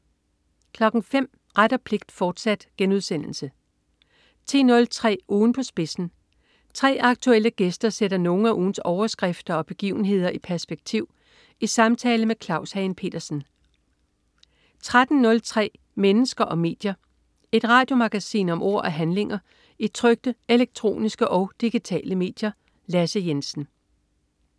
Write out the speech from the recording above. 05.00 Ret og pligt, fortsat* 10.03 Ugen på spidsen. 3 aktuelle gæster sætter nogle af ugens overskrifter og begivenhederi perspektiv i samtale med Claus Hagen Petersen 13.03 Mennesker og medier. Et radiomagasin om ord og handlinger i trykte, elektroniske og digitale medier. Lasse Jensen